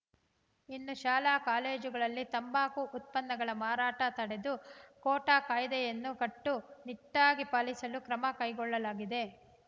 ಇನ್ನು ಶಾಲಾಕಾಲೇಜುಗಳಲ್ಲಿ ತಂಬಾಕು ಉತ್ಪನ್ನಗಳ ಮಾರಾಟ ತಡೆಗೆ ಕೋಟ್ಟಾಕಾಯ್ದೆಯನ್ನು ಕಟ್ಟುನಿಟ್ಟಾಗಿ ಪಾಲಿಸಲು ಕ್ರಮ ಕೈಗೊಳ್ಳಲಾಗಿದೆ